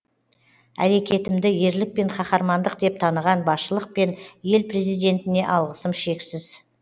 әрекетімді ерлік пен қаһармандық деп таныған басшылық пен ел президентіне алғысым шексіз